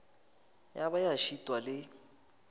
ya ba ya šitwa le